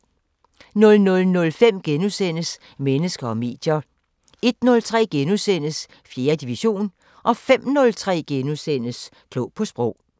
00:05: Mennesker og medier * 01:03: 4. division * 05:03: Klog på Sprog *